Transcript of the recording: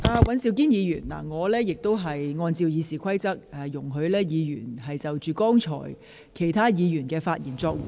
尹兆堅議員，我按照《議事規則》主持會議，容許議員就剛才其他議員的發言作回應。